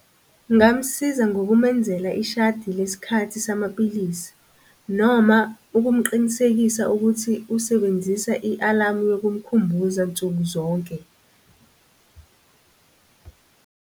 Ngamusiza ngokumenzela ishadi lesikhathi samaphilisi, noma ukumqinisekisa ukuthi usebenzisa i-alamu yokukukhumbuza nsuku zonke .